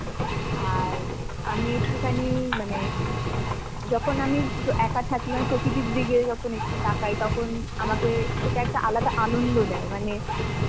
আর আমি একটুখানি মানে যখন আমি ব একা থাকি মানে প্রকৃতির দিকে যখন একটু তাকাই তখন আমাকে সেটা একটা আলাদা আনন্দ দেয়. মানে,